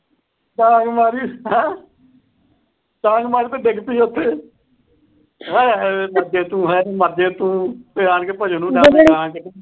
ਡਾਂਗ ਮਾਰੀ। ਡਾਂਗ ਮਾਰੀ ਤੋਂ ਡਿੱਗ ਪਈ ਉਥੇ। ਆਏ ਹਾਏ। ਮਰ ਜੇ ਤੂੰ। ਹਾਏ ਵੇ ਮਰਜੇਂ ਤੂੰ। ਇਹ ਆਖ ਕੇ